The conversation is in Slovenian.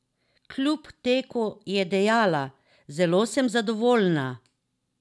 Kljub teku je dejala: 'Zelo sem zadovoljna.